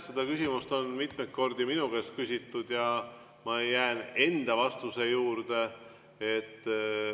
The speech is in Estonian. Seda küsimust on mitmeid kordi minu käest küsitud ja ma jään enda vastuse juurde.